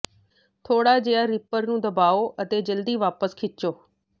ਥੋੜਾ ਜਿਹਾ ਰਿਪਰ ਨੂੰ ਦਬਾਓ ਅਤੇ ਜਲਦੀ ਵਾਪਸ ਖਿੱਚੋ